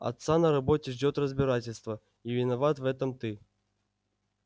отца на работе ждёт разбирательство и виноват в этом ты